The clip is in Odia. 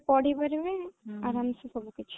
ପଢିପାରିବେ ହୁଁ ଆରାମ ସେ ସବୁ କିଛି